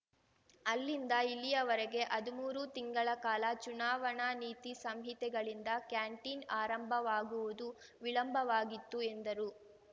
ಅಲ್ಲಿಂದ ಇಲ್ಲಿಯವರೆಗೆ ಹದುಮೂರು ತಿಂಗಳ ಕಾಲ ಚುನಾವಣಾ ನೀತಿ ಸಂಹಿತೆಗಳಿಂದ ಕ್ಯಾಂಟೀನ್‌ ಆರಂಭವಾಗುವುದು ವಿಳಂಬವಾಗಿತ್ತು ಎಂದರು